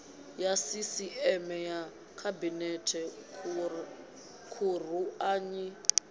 ya sisieme ya khabinete khuruanyi